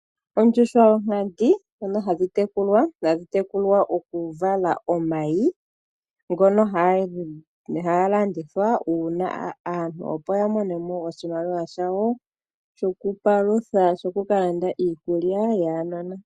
Oondjuhwa dhonkadhi ndhono hadhi tekulwa okuvala omayi ngono haga landithwa opo aantu ya mone mo oshimaliwa shawo shokwiipalutha nokukalanda iikulya yuunona.